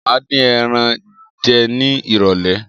Máa din ẹran jẹ ní irọ̀lẹ́